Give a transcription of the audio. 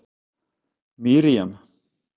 Miriam